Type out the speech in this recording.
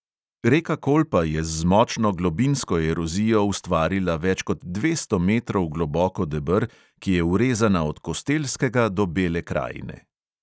Reka kolpa je z močno globinsko erozijo ustvarila več kot dvesto metrov globoko deber, ki je vrezana od kostelskega do bele krajine.